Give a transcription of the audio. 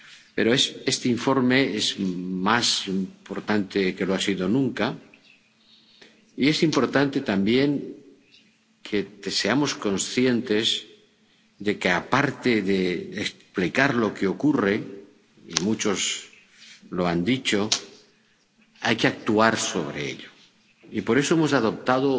Pero este informe es más importante que nunca, y es importante también que seamos conscientes de que, aparte de explicar lo que ocurre —y muchos lo han dicho—, hay que actuar sobre ello. Y por eso hemos adoptado